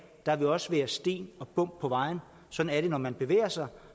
der vil også være sten og bump på vejen sådan er det når man bevæger sig